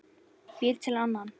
Býr til annan.